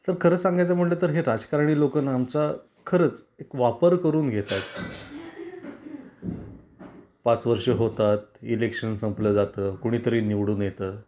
तर खर सांगायच म्हंटल तर हे राजकारणी लोकं ना आमचा खरच एक वापर करून घेतात. पाच वर्ष होतात, इलेक्शन संपल जात, कोणीतरी निवडून येत.